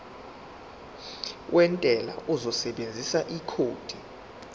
wentela uzosebenzisa ikhodi